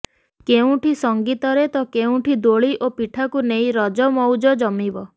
କେଉଁଠି ସଂଗୀତରେ ତ କେଉଁଠି ଦୋଳି ଓ ପିଠାକୁ ନେଇ ରଜ ମଉଜ ଜମିବ